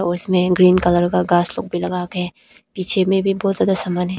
इसमें green colour का का घास लगा है पीछे में भी बहुत ज्यादा सामान है।